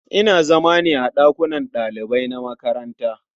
Ina zama ne a ɗakunan ɗalibai na makaranta.